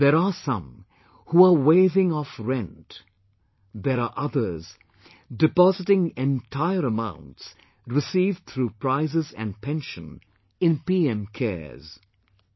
There are some who are waiving off rent; there are others depositing entire amounts received through prizes and pension in PM CARES